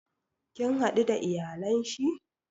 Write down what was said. Kin hadu da iyalan shi?